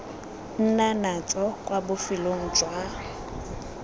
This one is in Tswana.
nna natso kwa bofelong jwa